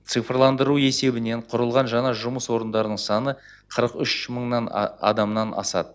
цифрландыру есебінен құрылған жаңа жұмыс орындарының саны қырық үш мыңнан адамнан асады